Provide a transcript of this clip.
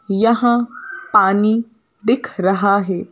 यहां पानी दिख रहा है।